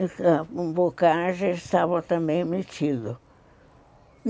Então, bocaja estava também emitido.